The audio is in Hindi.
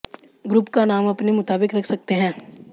ग्रुप का नाम अपने मुताबिक रख सकते हैं